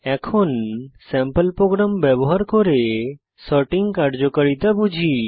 এখন sample program ব্যবহার করে সর্টিং কার্যকারিতা বুঝি